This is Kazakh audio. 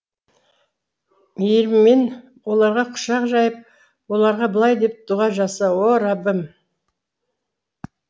мейіріммен оларға құшақ жайып оларға былай деп дұға жаса о раббым